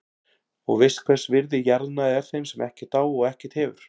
Og veist hvers virði jarðnæði er þeim sem ekkert á og ekkert hefur.